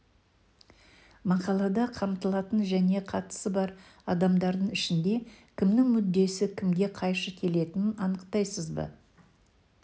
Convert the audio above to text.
мақалада қамтылатын және қатысы бар адамдардың ішінде кімнің мүддесі кімге қайшы келетінін анықтайсыз ба